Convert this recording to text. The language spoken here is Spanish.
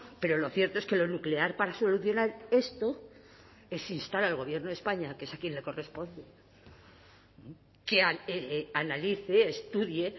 pero lo cierto es que lo nuclear para solucionar esto es instar al gobierno de españa que es a quien le corresponde que analice estudie